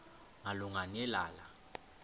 malunga ne lala